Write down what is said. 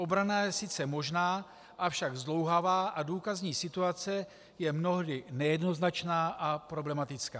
Obrana je sice možná, avšak zdlouhavá a důkazní situace je mnohdy nejednoznačná a problematická.